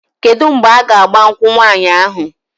Kedu mgbe a ga-agba nkwụ nwaanyị ahụ?